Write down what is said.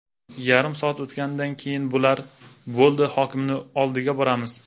Yarim soat o‘tganidan keyin bular ‘Bo‘ldi, hokimni oldiga boramiz.